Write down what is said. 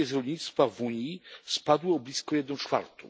emisje z rolnictwa w Unii spadły o blisko jedną czwartą.